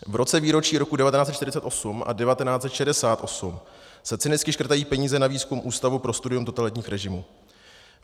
V roce výročí roku 1948 a 1968 se cynicky škrtají peníze na výzkum Ústavu pro studium totalitním režimů.